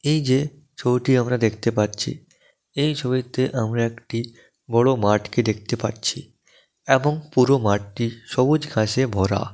এইযে ছবিটি আমরা দেখতে পাচ্ছি এই ছবিতে আমরা একটি বড় মাঠ কে দেখতে পাচ্ছি এবং পুরো মাঠটি সবুজ ঘাসে ভরা।